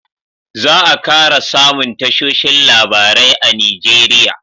za a kara samun tashoshin labarai a nigeria